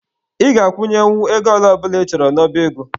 Ị ga-akwụnyenwu ego ole ọ bụla ị chọrọ n'oba ego.